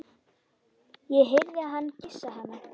Ég heyrði hann kyssa hana.